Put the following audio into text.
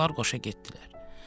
Onlar qoşa getdilər.